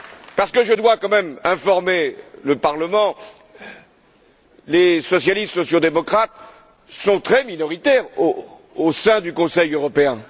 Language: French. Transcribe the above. Parce que je dois quand même informer le Parlement les socialistes sociaux démocrates sont très minoritaires au sein du Conseil européen.